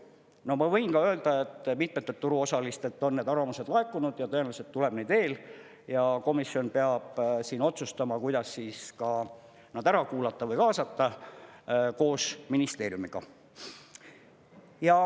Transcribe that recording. No ma võin ka öelda, et mitmetelt turuosalistelt on need arvamused laekunud ja tõenäoliselt tuleb neid veel ja komisjon peab siin otsustama, kuidas nad ära kuulata või kaasata, koos ministeeriumiga.